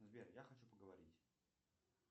сбер я хочу поговорить